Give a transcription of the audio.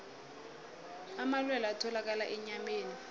amalwelwe atholakala enyameni